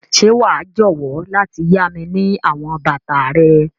Ṣe wa jọwọ lati ya mi ni àwọn bàtà rẹ?